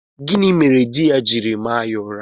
Gịnị mere di ya jiri maa ya ụra?